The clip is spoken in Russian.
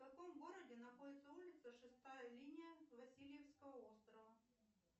в каком городе находится улица шестая линия васильевского острова